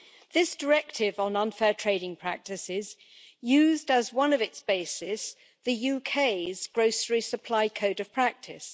This directive on unfair trading practices used as one of its bases the UK's grocery supply code of practice.